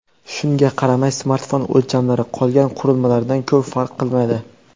Shunga qaramay, smartfon o‘lchamlari qolgan qurilmalardan ko‘p farq qilmaydi.